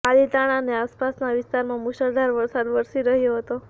પાલીતાણા અને આસપાસના વિસ્તારમાં મુશળધાર વરસાદ વરસી રહ્યો હતો